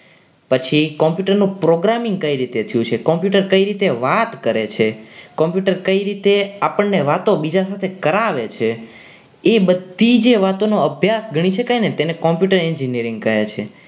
પછી computer નો programming કઈ રીતે થયું છે computer કેવી રીતે વાત કરે છે computer આપણને બીજા સાથે વાતો કેવી રીતે કરાવે છે એ બધી જ વાતોનો અભ્યાસ ગણી શકાય ને તેને computer engineering કહે છે.